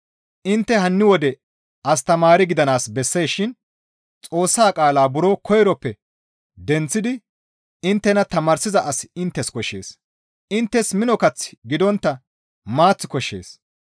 Intte hanni wode astamaare gidanaas bessishin Xoossa qaalaa buro koyroppe denththidi inttena tamaarsiza as inttes koshshees. Inttes mino kath gidontta maath koshshees.